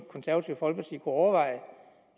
konservative folkeparti kunne overveje